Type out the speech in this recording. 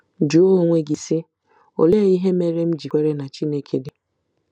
Jụọ onwe gị, sị, ‘ Olee ihe mere m ji kwere na Chineke dị? ’